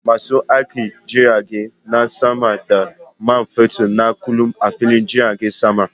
Masu aikin jirage na samar da man fetur na kullum a fillin jiragen sama.